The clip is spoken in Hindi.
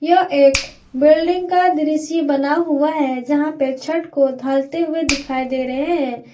यह एक बिल्डिंग का दृश्य बना हुआ है जहां पे छत को ढालते हुए दिखाई दे रहे है।